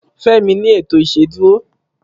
femi ni eto iṣeduro